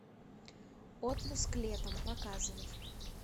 отпуск летом показывай